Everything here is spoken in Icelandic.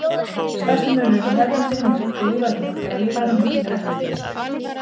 Stærsti munurinn á hefðbundinni mjólk og lífrænni mjólk er að lífræna mjólkin er ekki fitusprengd.